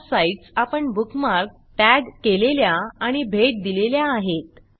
ह्या साईटस आपण bookmark tag केलेल्या आणि भेट दिलेल्या आहेत